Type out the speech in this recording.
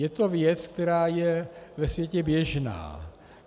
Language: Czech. Je to věc, která je ve světě běžná.